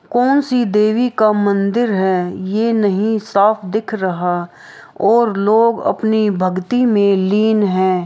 कौन सी देवी का मंदिर है ये नहीं साफ दिख रहा और लोग अपनी भक्ति मे लीन है।